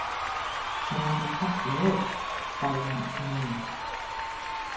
Hann var nú fallegur, sagði hún núna.